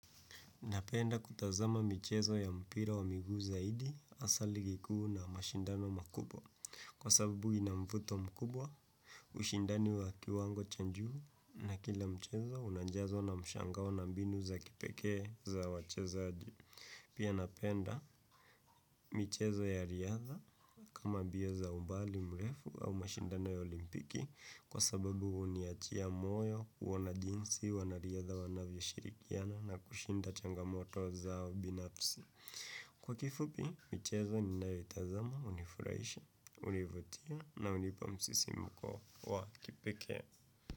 Napenda kutazama michezo ya mpira wa miguu, zaidi, hasa ligi kuu na mashindano makubwa. Kwa sababu inamvuto mkubwa, ushindani wa kiwango cha njuu na kila mchezo unanjazo na mshangao na mbinu za kipekee, za wachezaji. Pia, napenda, michezo ya riadha, kama mbia za umbali mrefu, au mashindano ya olimpiki kwa sababu uniachia moyo, uona jinsi, wanariadha wanavyo shirikiana na kushinda changamoto zao, binafsi. Kwa kifupi, michezo ninayoitazama, unifuraisha, univutia na unipa msisi mko wa kipikee.